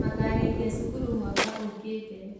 Makarĩkia cukuru mwaka ũkĩte